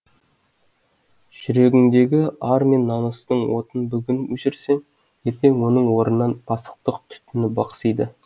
жүрегіңдегі ар мен намыстың отын бүгін өшірсең ертең оның орнынан пасықтық түтіні бықсиды